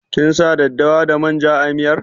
Kin sa daddawa da manja a miyar?